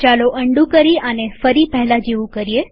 ચાલો અન્ડૂ કરી આને ફરી પહેલા જેવું કરીએ